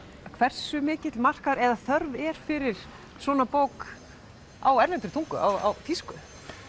hversu mikill markaður eða þörf er fyrir svona bók á erlendri tungu á þýsku